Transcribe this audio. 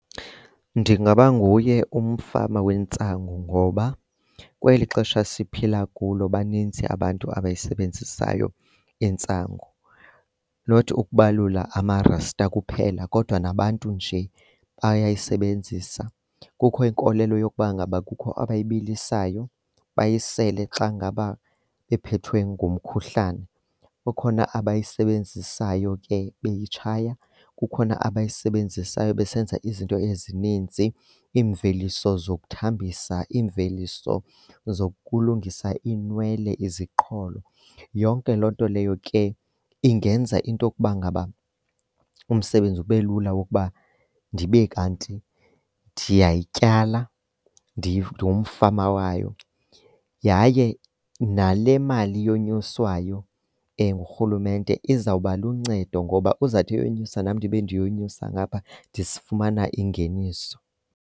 Ndingaba nguye umfama wentsangu ngoba kweli xesha siphila kulo baninzi abantu abayisebenzisayo intsangu. Not ukubalula amaRasta kuphela kodwa nabantu nje bayayisebenzisa. Kukho inkolelo yokuba ngaba kukho abayibilisayo bayisele xa ngaba bephethwe ngumkhuhlane, kukhona abayisebenzisayo ke beyitshaya. Kukhona abayisebenzisayo besenza izinto ezininzi, iimveliso zokuthambisa, iimveliso zokulungisa iinwele, iziqholo. Yonke loo nto leyo ke ingenza into yokuba ngaba umsebenzi ube lula wokuba ndibe kanti ndiyayityala, ndingumfama wayo. Yaye nale mali yonyuswayo ngurhulumente izawuba luncedo ngoba uzawuthi eyonyusa, nam ndibe ndiyonyuswa ngapha fumana ingeniso